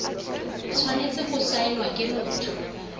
tshwanetse go saenwa ke motho